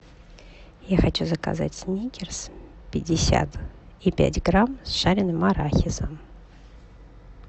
я хочу заказать сникерс пятьдесят и пять грамм с жареным арахисом